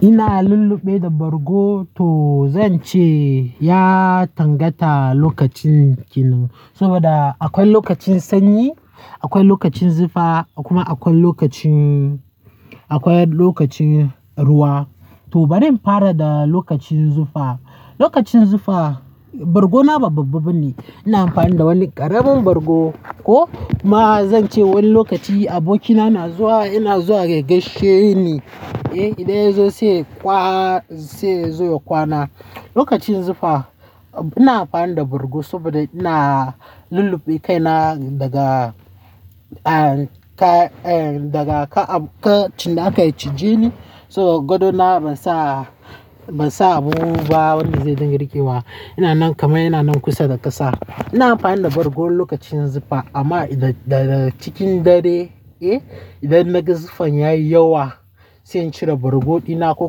Ina lulluɓe da bargo to zan ce ya tangata lokacin kinan, saboda akwai lokacin sanyi, akwai lokacin zufa kuma akwai lokacin, akwai lokacin ruwa. To bari in fara da lokacin zufa. Lokacin zufa, bargona babba-babba bane, ina amfani da wani ƙaramin bargo ko ma zan ce wani lokaci abokina na zuwa, yana zuwa ya gaishe ni, eh, idan ya zo sai kwa, sai ya zo ya kwana. Lokacin zufa ina amfani da bargo saboda ina lulluɓe kaina daga. Daga, ah, ka, eh, daga ka, aka cinnaka ya cije ni so gadona ban sa, ban sa abubuwa ba wanda zai dinga riƙewa. Ina nan kama, ina nan kusa da ƙasa. Ina amfani da bargo lokacin zufa amma idan da cikin dare, eh, idan na ga zufan ya yi yawa sai in cire bargo dina ko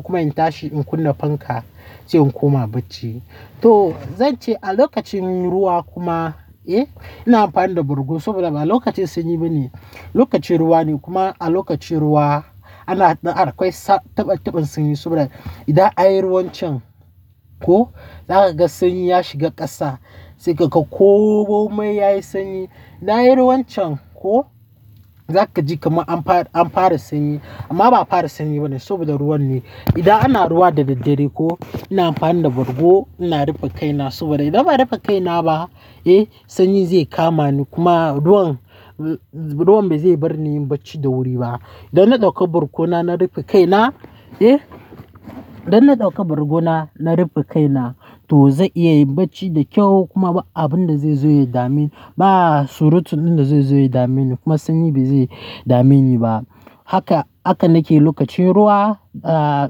kuma in tashi in kunna fanka sai in koma bacci. To zan ce a lokacin ruwa kuma, eh, ina amfani da bargo saboda ba lokacin sanyi bane, lokacin ruwa ne kuma a lokacin ruwa ana, akwai taɓan-taɓan sanyi saboda idan an yi ruwan can ko za ka ga sanyi ya shiga ƙasa sai ka ga komai ya yi sanyi. Idan anyi ruwan can ko za ka ji kamar an fara, an fara sanyi amma ba a fara sanyi bane saboda ruwan ne. Idan ana ruwa da daddare ko ina amfani da bargo ina rufe kaina saboda idan ba'a rufe kaina ba, eh, sanyi zai kama ni kuma ruwan, ruwan bai zai bar ni in yi bacci da wuri ba. Dan na ɗauka bargona na rufe kaina, eh, dan na ɗauka bargona na rufe kaina to zan iya yin bacci da kyau kuma ba abin da zai zo ya dame ni, ba surutun da zai zo ya dame ni kuma sanyi bai zai dame ni ba. Haka, haka nake lokacin ruwa, ah,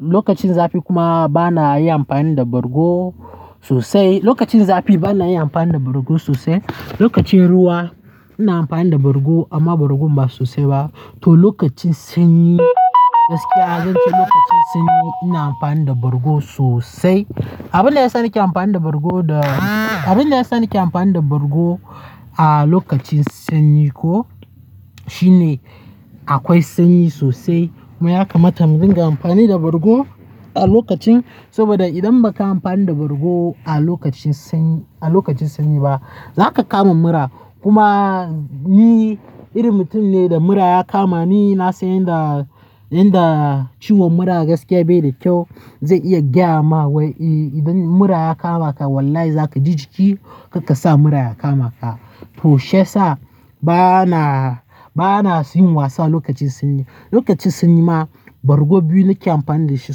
lokacin zafi kuma ba na yi amfani da bargo sosai. Lokacin zafi ba na yi amfani da bargo sosai. Lokacin ruwa ina amfani da bargo amma bargo ba sosai ba. To lokacin sanyi gaskiya zan ce lokacin sanyi ina amfani da bargo sosai. Abin da ya sa nake amfani da bargo da, abin da ya sa nake amfani da bargo a lokacin sanyi ko shine akwai sanyi sosai kuma ya kamata mu dinga amfani da bargo a lokacin saboda idan baka yi amfani da bargo a lokacin sanyi, a lokacin sanyi ba za ka kama mura kuma ni irin mutum ne da mura ya kama ni na san yadda, yadda ciwon mura gaskiya bai da kyau. Zai iya gyama wai idan mura ya kama ka wallahi za ka ji jiki karka sa mura ya kama ka. To shiyasa ba na, ba na yin wasa lokacin sanyi. Lokacin sanyi ma bargo biyu nake amfani da shi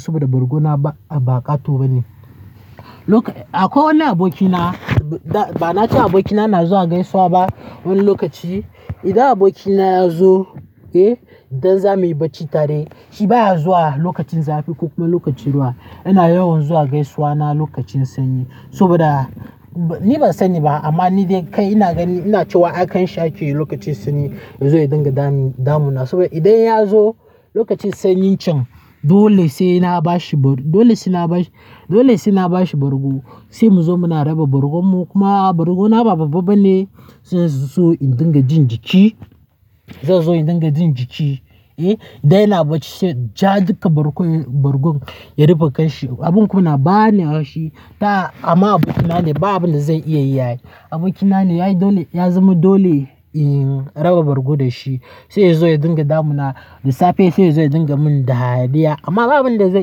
saboda bargona ba ƙato bane. Loka-- akwai wani abokina ba na ce abokina na zuwa ya gaisuwa ba wani lokaci. Idan abokina ya zo, eh, idan za mu yi bacci tare shi baya zuwa lokacin zafi ko kuma lokacin ruwa. Yana yawan zuwa gaisuwana lokacin sanyi saboda ni ban sani ba amma ni dai kai ina ganin ina cewa akan shaƙi lokacin sanyi zai zo ya dinga damu, damuna saboda idan ya zo lokacin sanyin can dole sai na bashi, dole sai na bashi, dole sai na bashi bargo sai mu zo muna raba bargon mu kuma bargona babba-babba ne zai zo in dinga jin jiki, zai zo in dinga jin jiki, eh. Da yana bacci sai ja duka bargon, bargon ya rufe kanshi. Abin kuna ba ni haushi ta amma abokina ne babu inda zai iya yi. Abokina ne yayi dole, ya zama dole in raba bargo da shi sai ya zo ya dinga damuna da safe sai ya zo ya dinga min dariya amma babu inda zai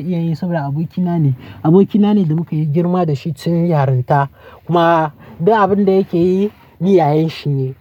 iya yin saboda abokina ne. Abokina ne da muka yi girma da shi tun yaronta kuma duk abin da yake yi ni yayanshi ne.